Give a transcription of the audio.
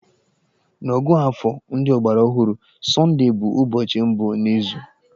N'ọ̀gụ́àfọ̀ ndị ọgbaraọhụrụ, Sọndee bụ ụbọchị mbụ n'izu.